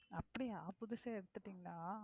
அப்படியா புதுசே எடுத்துட்டீங்களா?